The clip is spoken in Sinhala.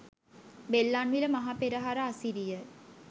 බෙල්ලන්විල මහ පෙරහර අසිරියය.